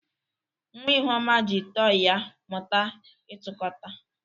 Nwa Ihuoma ji tọị ya mụta ịtụkota.